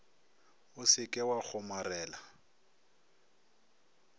o se ke wa kgomarela